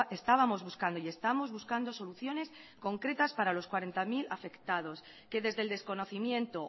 estábamos buscando y estamos buscando soluciones concretas para los cuarenta mil afectados que desde el desconocimiento